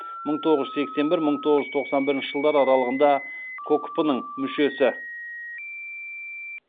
мың тоғыз жүз сексен бір мың тоғыз жүз тоқсан бірінші жылдар аралығында кокп ның мүшесі